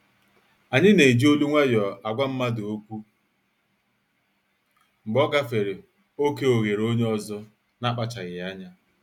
Anyi na-eji olu nwayọ agwa mmadụ okwu mgbe ọ gafere oké oghere onye ọzọ n'akpachaghi anya.